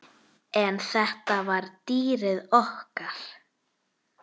En þetta var dýrið okkar.